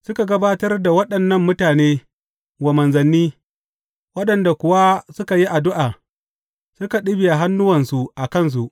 Suka gabatar da waɗannan mutane wa manzanni, waɗanda kuwa suka yi addu’a, suka ɗibiya hannuwansu a kansu.